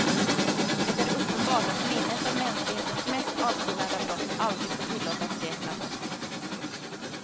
Det är uppenbart att minnet av mänsklighetens mest avskyvärda brott aldrig får tillåtas blekna bort.